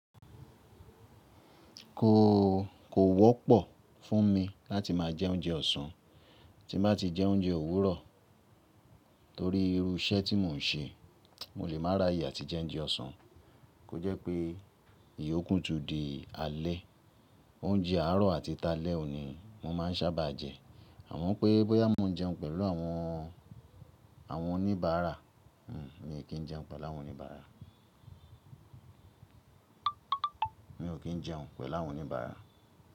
Kò, kò wọ́pọ̀ fún mi láti máa jẹ oúnjẹ ọ̀sán, tí má ti jẹ oúnjẹ òwúrọ̀ torí irú iṣẹ́ tí mò ń ṣe. Mo lè má ráyè àti jẹ oúnjẹ ọ̀sán. Kò jẹ́ pé ìyókù tún di alẹ́. Oúnjẹ àárọ̀ àti talẹ́ òun ní mo máa ń sábà jẹ. Àmọ́ pé bóyá mò ń jẹun pẹ̀lú àwọn, àwọn oníbàárà. Mi kí ń jẹun pẹ̀lú àwọn oníbàárà. Mi ò kí ń jẹun pẹ̀lú àwọn oníbàárà.